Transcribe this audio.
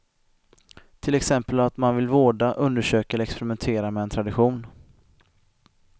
Till exempel att man vill vårda, undersöka eller experimentera med en tradition.